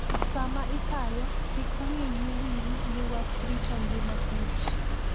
Sama ikayo, kik wiyi wil gi wach rito ngima kich